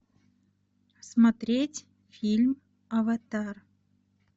смотреть фильм аватар